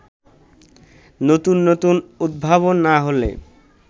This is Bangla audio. নতুন নতুন উদ্ভাবন না হলে